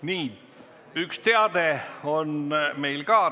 Meil on ka üks teade.